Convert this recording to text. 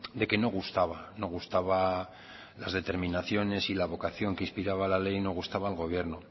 de que no gustaba no gustaba la determinación y la vocación que inspiraba la ley no gustaba al gobierno